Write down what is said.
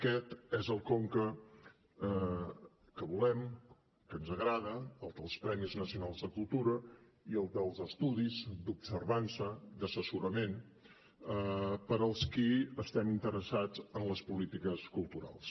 aquest és el conca que volem el que ens agrada el dels premis nacionals de cultura i el dels estudis d’observança d’assessorament per als qui estem interessats en les polítiques culturals